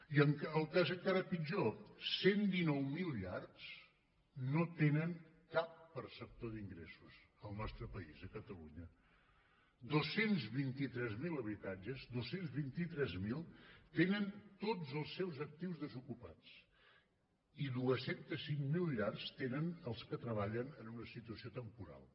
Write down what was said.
i el cas encara pitjor cent i dinou mil llars no tenen cap perceptor d’ingressos al nostre país a catalunya dos cents i vint tres mil habitatges dos cents i vint tres mil tenen tots els seus actius desocupats i dos cents i cinc mil llars tenen els que treballen en una situació temporal